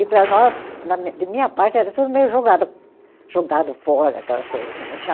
E para nós, na minha, de minha parte, era tudo meio jogado, jogado fora, aquelas coisas assim, não tinha